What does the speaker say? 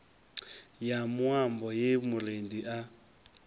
ya muambo ye murendi a